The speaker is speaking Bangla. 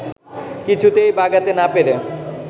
কিছুতেই বাগাতে না পেরে